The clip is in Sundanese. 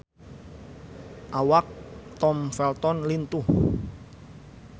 Awak Tom Felton lintuh